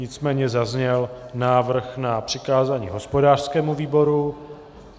Nicméně zazněl návrh na přikázání hospodářskému výboru.